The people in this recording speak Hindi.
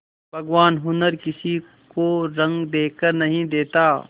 भगवान हुनर किसी को रंग देखकर नहीं देता